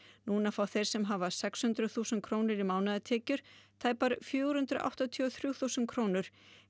núna fá þeir sem hafa sex hundruð þúsund krónur í mánaðartekjur tæpar fjögur hundruð áttatíu og þrjú þúsund krónur